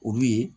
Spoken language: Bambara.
Olu ye